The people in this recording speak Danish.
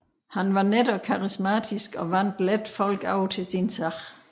Han var net og karismatisk og vandt let folk over til sin sag